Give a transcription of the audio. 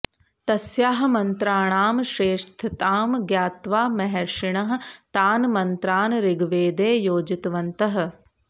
तस्याः मन्त्राणां श्रेष्ठतां ज्ञात्वा महर्षिणः तान् मन्त्रान् ऋग्वेदे योजितवन्तः